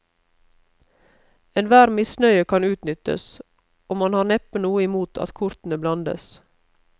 Enhver misnøye kan utnyttes, og man har neppe noe imot at kortene blandes.